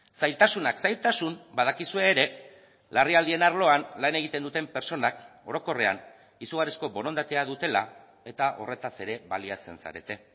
zailtasunak zailtasun badakizue ere larrialdien arloan lan egiten duten pertsonak orokorrean izugarrizko borondatea dutela eta horretaz ere baliatzen zarete